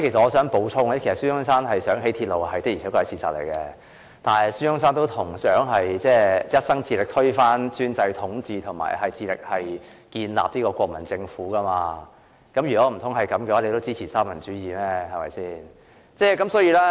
我想補充指出，孫中山希望興建鐵路是事實，但孫中山也同時畢生致力推翻專制統治和建立國民政府，難道該位同事也支持三民主義？